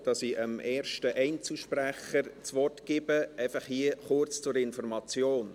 Bevor ich dem ersten Einzelsprecher das Wort gebe, hier kurz zur Information: